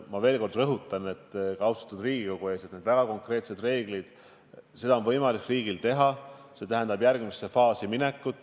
Ma veel kord rõhutan austatud Riigikogu ees, et need väga konkreetsed reeglid on võimalik riigil kehtestada, aga see tähendab järgmisse faasi minekut.